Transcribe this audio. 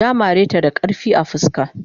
Ya mare ta da karfi a fuska.